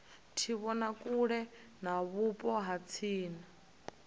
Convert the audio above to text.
tshivhonakule kha vhupo ha tsini